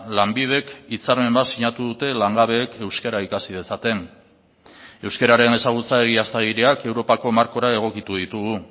lanbidek hitzarmen bat sinatu dute langabeek euskara ikasi dezaten euskararen ezagutza egiaztagiriak europako markora egokitu ditugu